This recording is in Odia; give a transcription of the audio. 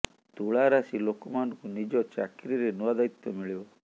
ତୁଳା ରାଶି ଲୋକମାନଙ୍କୁ ନିଜ ଚାକୀରିରେ ନୂଆ ଦାୟିତ୍ବ ମିଳିବ